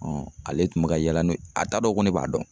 ale tun bɛ ka yaala n'o ye a t'a dɔn ko ne b'a dɔn.